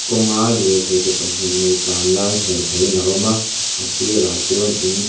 kawng a lirthei ke pahnih nei tlan lai hmuh theih in a awm a a sirah chuan in ch--